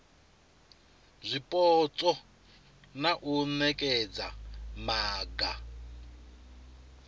zwipotso na u nekedza maga